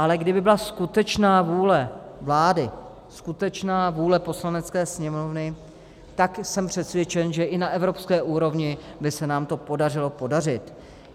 Ale kdyby byla skutečná vůle vlády, skutečná vůle Poslanecké sněmovny, tak jsem přesvědčen, že i na evropské úrovni by se nám to podařilo prosadit.